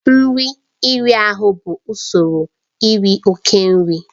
Nri iri ahụ bụ usoro iri oke nri.